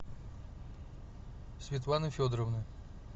светланы федоровны